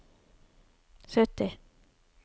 sytti